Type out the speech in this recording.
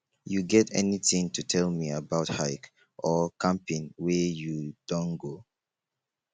you get anything to tell me about hike or camping wey you don go